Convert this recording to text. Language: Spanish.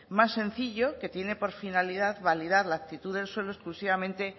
más sencillo que tiene por finalidad validar la actitud del suelo exclusivamente